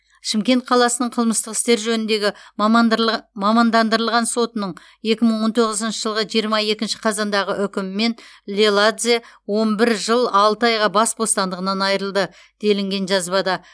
шымкент қаласының қылмыстық істер жөніндегі мамандандырылған сотының екі мың он тоғызыншы жылғы жиырма екінші қазандағы үкімімен леладзе он бір жыл алты айға бас бостандығынан айырылды делінген жазбада